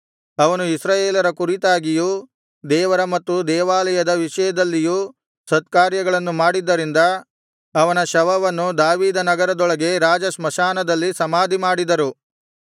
ಅವನು ಇಸ್ರಾಯೇಲರ ಕುರಿತಾಗಿಯೂ ದೇವರ ಮತ್ತು ದೇವಾಲಯದ ವಿಷಯದಲ್ಲಿಯೂ ಸತ್ಕಾರ್ಯಗಳನ್ನು ಮಾಡಿದ್ದರಿಂದ ಅವನ ಶವವನ್ನು ದಾವೀದನಗರದೊಳಗೆ ರಾಜಸ್ಮಶಾನದಲ್ಲಿ ಸಮಾಧಿ ಮಾಡಿದರು